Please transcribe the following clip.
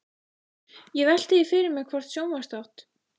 Ég velti því fyrir mér hvort sjónvarpsþátt